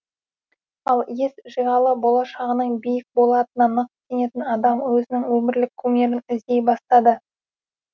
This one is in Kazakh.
ал ес жиғалы болашағының биік болатынына нық сенетін адам өзінің өмірлік кумирін іздей бастады